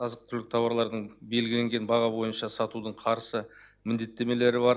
азық түлік тауарлардың белгіленген баға бойынша сатудың қарсы міндеттемелері бар